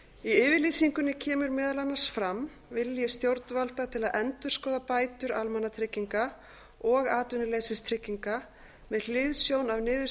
yfirlýsingunni kemur meðal annars fram vilji stjórnvalda til að endurskoða bætur almannatrygginga og atvinnuleysistrygginga með hliðsjón af